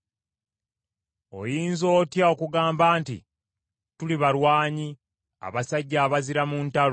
“Oyinza otya okugamba nti, ‘Tuli balwanyi, abasajja abazira mu ntalo?’